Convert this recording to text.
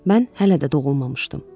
Mən hələ də doğulmamışdım.